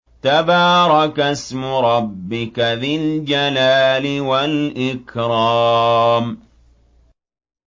تَبَارَكَ اسْمُ رَبِّكَ ذِي الْجَلَالِ وَالْإِكْرَامِ